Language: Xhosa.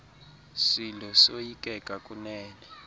silo soyikeka kunene